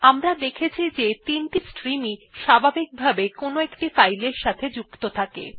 আমরা দেখেছি যে ৩ টি স্ট্রিমই স্বাভাবিকভাবে কোনো ফাইল এর সাথে সংযুক্ত থাকে